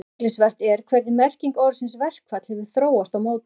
Athyglisvert er hvernig merking orðsins verkfall hefur þróast og mótast.